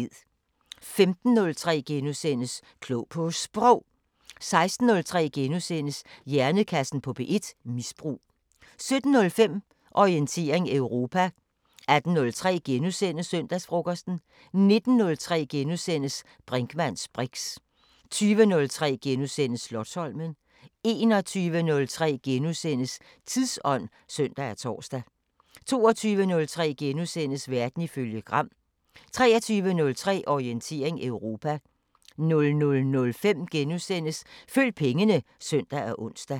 15:03: Klog på Sprog * 16:03: Hjernekassen på P1: Misbrug * 17:05: Orientering Europa 18:03: Søndagsfrokosten * 19:03: Brinkmanns briks * 20:03: Slotsholmen * 21:03: Tidsånd *(søn og tor) 22:03: Verden ifølge Gram * 23:03: Orientering Europa 00:05: Følg pengene *(søn og ons)